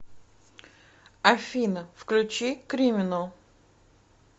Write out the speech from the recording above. афина включи криминал